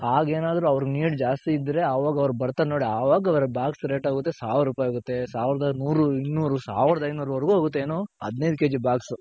ಆಗೆನಾದ್ರು ಅವ್ರ್ need ಜಾಸ್ತಿ ಇದ್ರೆ ಅವಾಗ್ ಅವ್ರು ಬರ್ತಾರ್ ನೋಡಿ ಅವಾಗ್ ಅವ್ರ್ box rate ಹೋಗುತ್ತೆ ಸಾವ್ರೂಪಾಯ್ ಹೋಗುತ್ತೆ ಸಾವ್ರದ್ ನೂರು, ಇನ್ನೂರು, ಸಾವ್ರದ್ ಐನೂರ್ ವರ್ಗು ಹೋಗುತ್ತೆ ಏನು ಹದಿನೈದ್ K G Box .